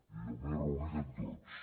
i jo m’he reunit amb tots